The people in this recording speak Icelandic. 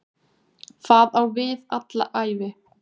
Það á við alla ævi.